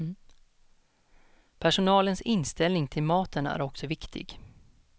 Personalens inställning till maten är också viktig.